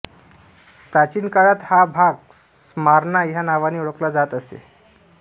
प्राचीन काळात हा भाग स्मार्ना ह्या नावाने ओळखला जात असे